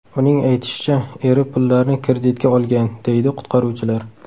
Uning aytishicha, eri pullarni kreditga olgan”, deydi qutqaruvchilar.